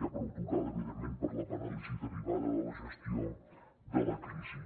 ja prou tocada evidentment per la paràlisi derivada de la gestió de la crisi